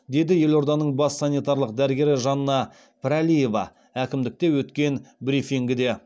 деді елорданың бас санитарлық дәрігері жанна пірәлиева әкімдікте өткен брифингіде